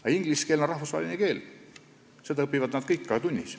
Aga inglise keel on rahvusvaheline keel, seda õpivad nad kõik ka tunnis.